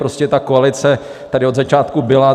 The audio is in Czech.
Prostě ta koalice tady od začátku byla.